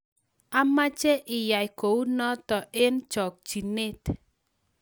Amache iyai kunoto eng chokchinet